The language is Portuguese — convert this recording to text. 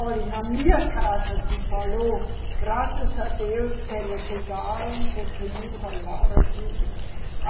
Olhe, na minha casa se falou, graças a Deus que eles chegaram porque nos salvaram do Hitler.